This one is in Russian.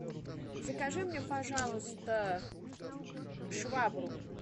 закажи мне пожалуйста швабру